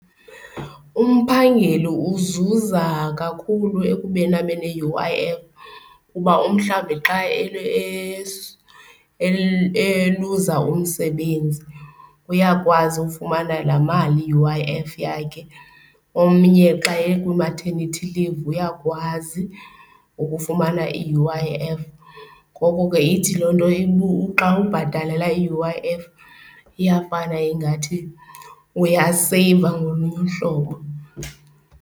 Umphangeli uzuza kakhulu ekubeni abe ne-U_I_F kuba umhlawumbi xa eluza umsebenzi uyakwazi ufumana laa mali ye-U_I_F yakhe, omnye xa ekwi-maternity leave uyakwazi ukufumana i-U_I_F. Ngoko ke ithi loo nto xa ubhatalela i-U_I_F iyafana ingathi uyaseyiva ngolunye uhlobo.